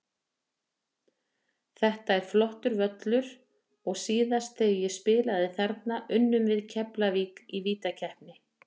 Þetta er flottur völlur og síðast þegar ég spilaði þarna unnum við Keflavík í vítakeppni.